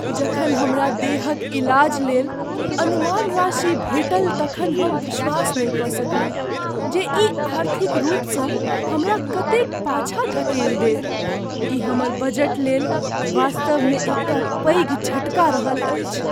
जखन हमरा देहक इलाज लेल अनुमान राशि भेटल तखन हम विश्वास नहि कऽ सकलहुँ जे ई आर्थिक रूपसँ हमरा कतेक पाछाँ धकेल देत। ई हमर बजटलेल वास्तवमे एकटा पैघ झटका रहल अछि।